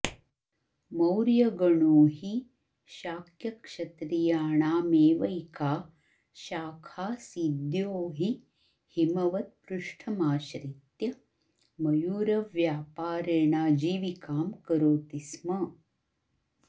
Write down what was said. मौर्यगणो हि शाक्यक्षत्रियाणामेवैका शाखाऽऽसीद्यो हि हिमवत्पृष्ठमाश्रित्य मयूरव्यापारेणाजीविकां करोति स्म